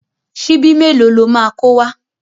Ṣíbí mélòó lo máa kó wá?